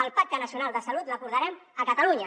el pacte nacional de salut l’acordarem a catalunya